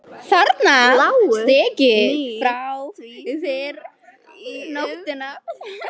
Þarna lágu stykki mín frá því fyrr um nóttina.